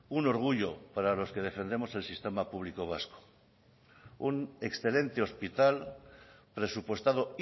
un orgullo para los que defendemos el sistema público vasco un excelente hospital presupuestado